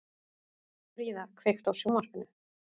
Fríða, kveiktu á sjónvarpinu.